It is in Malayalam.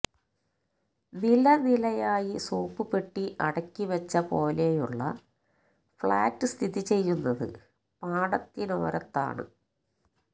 നില നിലയായി സോപ്പുപെട്ടി അടുക്കി വച്ച പോലെയുള്ള ഫ്ലാറ്റ് സ്ഥിതിചെയ്യുന്നത് പാടത്തിനോരത്താണ്